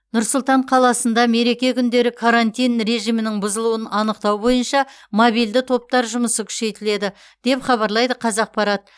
нұр сұлтан қаласында мереке күндері карантин режимінің бұзылуын анықтау бойынша мобильді топтар жұмысы күшейтіледі деп хабарлайды қазақпарат